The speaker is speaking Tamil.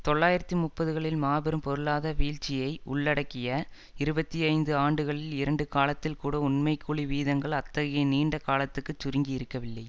தொள்ளாயிரத்தி முப்பதுகளில் மாபெரும் பொருளாத வீழ்ச்சியை உள்ளடக்கிய இருபத்தி ஐந்து ஆண்டுகளில் இரண்டு காலத்தில் கூட உண்மை கூலி வீதங்கள் அத்தகைய நீண்ட காலத்துக்கு சுருங்கி இருக்கவில்லை